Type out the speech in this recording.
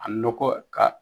A nɔkɔ ka